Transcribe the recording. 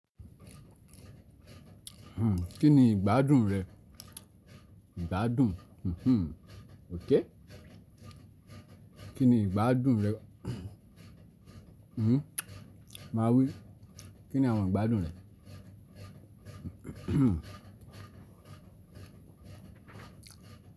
Hmm, kí ni ìgbádùn rẹ̀? Ìgbádùn, hmm, ok. Kí ni ìgbádùn rẹ̀? Hmm, má wí. Kí ni àwọn ìgbádùn rẹ̀?